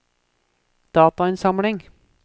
datainnsamling